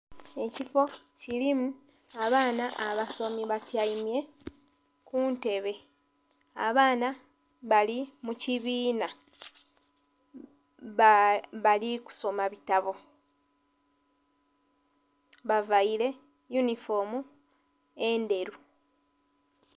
Ekifoo kilimu abaana abasomi batyaime kuntebe, abaana bali mu kibinna bali kusoma bitabo bavaire eyunifoomu endheru.